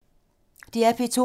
DR P2